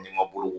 N'i ma boloko